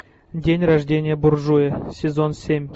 день рождения буржуя сезон семь